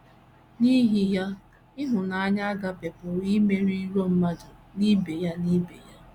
N’ihi ya, ịhụnanya a·gaʹpe pụrụ imeri iro mmadụ na ibe ya na ibe ya.